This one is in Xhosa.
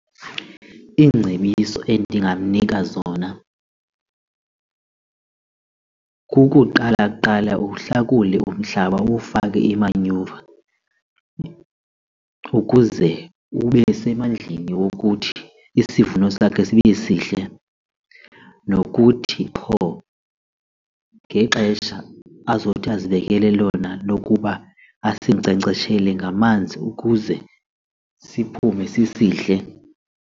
Iingcebiso endingamnika zona kukuqala kuqala uhlakule umhlaba uwufake imanyuva, ukuze ube semandleni wokuthi isivuno sakhe sibe sihle nokuthi qho ngexesha azothi azibekele lona lokuba asinkcenkceshele ngamanzi ukuze siphume sisihle.